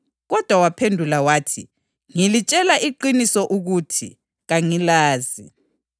Kodwa waphendula wathi, ‘Ngilitshela iqiniso ukuthi, kangilazi.’